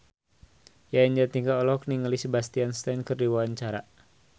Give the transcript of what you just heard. Yayan Jatnika olohok ningali Sebastian Stan keur diwawancara